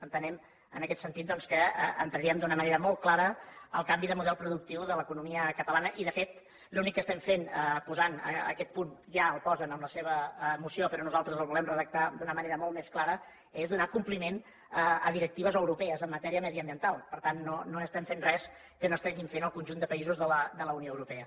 entenem en aquest sentit doncs que entraríem d’una manera molt clara al canvi de model productiu de l’economia catalana i de fet l’únic que estem fent posant aquest punt ja el posen en la seva moció però nosaltres el volem redactar d’una manera molt més clara és donar compliment a directives europees en matèria mediambiental per tant no estem fent res que no estiguin fent el conjunt de països de la unió europea